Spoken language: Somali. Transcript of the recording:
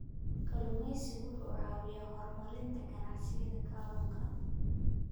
Kalluumeysigu wuxuu caawiyaa horumarinta ganacsiyada kalluunka.